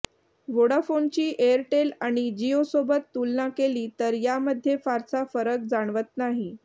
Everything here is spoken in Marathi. व्होडाफोनची एअरटेल आणि जिओसोबत तुलना केली तर यामध्ये फारसा फरक जाणवत नाही